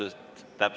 Ilusat ööd!